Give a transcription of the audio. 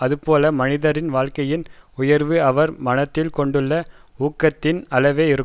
அதுபோல மனிதரின் வாழ்க்கையின் உயர்வு அவர் மனத்தில் கொண்டுள்ள ஊக்கத்தின் அளவே இருக்கும்